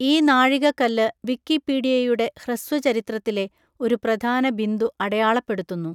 ഈ നാഴികക്കല്ല് വിക്കിപീഡിയയുടെ ഹ്രസ്വ ചരിത്രത്തിലെ ഒരു പ്രധാന ബിന്ദു അടയാളപ്പെടുത്തുന്നു.